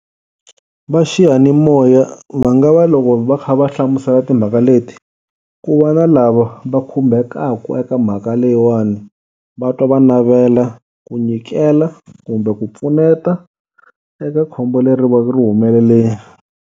Va xiyanimoya va nga va loko va kha va hlamusela timhaka leti, ku va na lava va khumbhekaku aka mhaka leyiwani va twa va navela ku nyikela kumbe ku pfuneta eka khombo leri va ku ri humelelile.